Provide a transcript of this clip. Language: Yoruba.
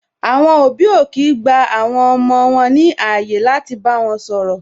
Àwọn òbí ò kii gba àwọn ọmọ wọn ní ààyè láti bá wọn sọ̀rọ̀